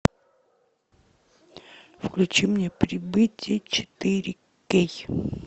включи мне прибытие четыре кей